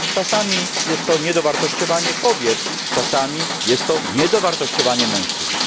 Czasami jest to niedowartościowanie kobiet, czasami jest to niedowartościowanie mężczyzn.